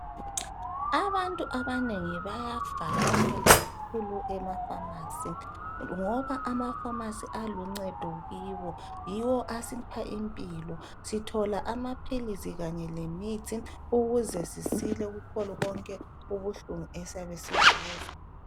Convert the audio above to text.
abantu abanengi bayavakatshela kakhulu eafamasi ngoba amafamasi aluncedo kibo yiwo asipha impilo sithola amaphilisi kanye lemithi ukuze sisile kukho konke ubuhlungu esiyabe sikuzwa